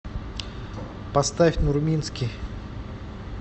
поставь нурминский